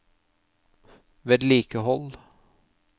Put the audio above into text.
vedlikehold